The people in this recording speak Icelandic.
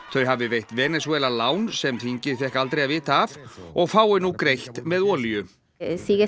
þau hafi veitt Venesúela lán sem þingið fékk aldrei að vita af og fái nú greitt með olíu